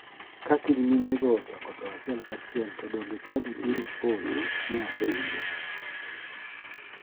"Ka kiny minego ochako tho achiel ka achiel to donge chadi biro podho?" ne apenje.